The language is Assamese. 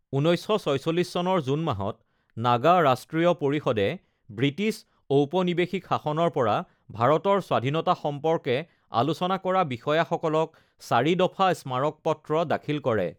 ১৯৪৬ চনৰ জুন মাহত নাগা ৰাষ্ট্ৰীয় পৰিষদে ব্ৰিটিছ ঔপনিৱেশিক শাসনৰ পৰা ভাৰতৰ স্বাধীনতা সম্পৰ্কে আলোচনা কৰা বিষয়াসকলক চাৰি দফা স্মাৰকপত্ৰ দাখিল কৰে।